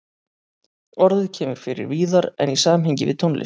Orðið kemur fyrir víðar en í samhengi við tónlist.